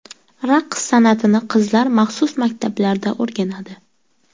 Raqs san’atini qizlar maxsus maktablarda o‘rganadi.